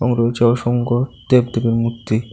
এবং রয়েছে অসংখ্য দেবদেবীর মূর্তি